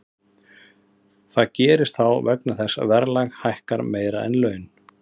Það gerist þá vegna þess að verðlag hækkar meira en laun.